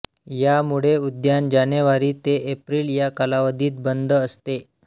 यामुळे उद्यान जानेवारी ते एप्रिल या कालावधीत बंद असते